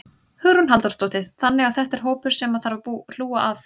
Hugrún Halldórsdóttir: Þannig að þetta er hópur sem að þarf að hlúa að?